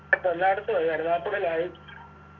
ഇപ്പൊ എല്ലായിടത്തും ആയി കരുനാഗപ്പളിയിലായി